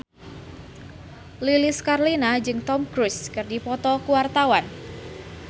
Lilis Karlina jeung Tom Cruise keur dipoto ku wartawan